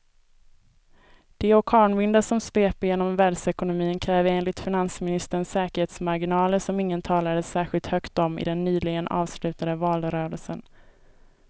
De orkanvindar som sveper genom världsekonomin kräver enligt finansministern säkerhetsmarginaler som ingen talade särskilt högt om i den nyligen avslutade valrörelsen.